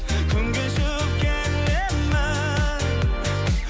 күн кешіп келемін